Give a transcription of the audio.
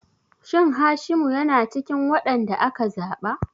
Shin Hashimu yana cikin wadanda aka zaba?